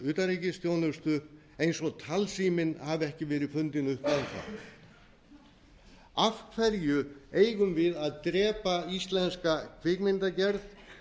utanríkisþjónustu eins og talsíminn hafi ekki verið fundinn upp enn þá af hverju eigum við að drepa íslenska kvikmyndagerð